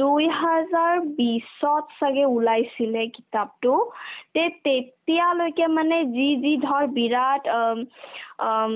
দুইহাজাৰ বিশত ছাগে ওলাইছিলে এই কিতাপতো তে তেতিয়ালৈকে মানে যি যি ধৰ বিৰাট অম অম